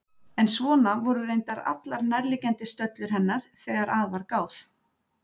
En svona voru reyndar allar nærliggjandi stöllur hennar þegar að var gáð.